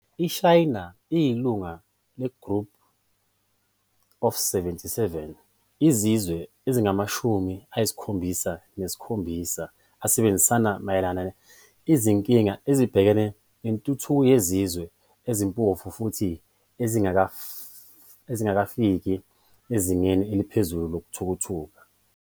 iShayina iyilunga le-"Group of 77", izizwe ezingamashumi ayisikhombisa nesikhombisa asebenzisana mayelana izinkinga ezibhekane nentuthuko yezizwe ezimpofu futhi ezingakafiki ezingeni eliphezulu lokuthuthuka.